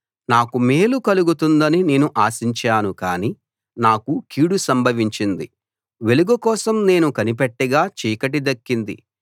నాకు మేలు కలుగుతుందని నేను ఆశించాను కానీ నాకు కీడు సంభవించింది వెలుగు కోసం నేను కనిపెట్టగా చీకటి దక్కింది